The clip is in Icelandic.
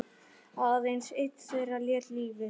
Aðeins einn þeirra lét lífið.